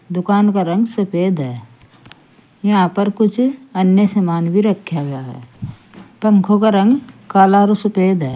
दुकान का रंग सफेद है यहां पर कुछ अन्य सामान भी रखा गया है पंखों का रंग काला और सफेद है।